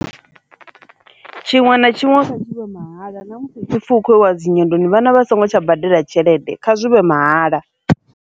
Tshiṅwe na tshiṅwe tshi vhe mahala na musi hu tshi pfhi hu kho yiwa dzinyendoni vhana vha songo tsha badela tshelede kha zwi vhe mahala.